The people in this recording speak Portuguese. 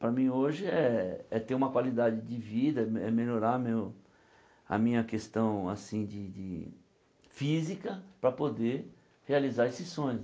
Para mim hoje é é ter uma qualidade de vida, é me é melhorar meu a minha questão assim de de física para poder realizar esses sonhos.